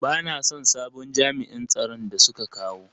Bana son sabon jami'in tsaron da suka kawo.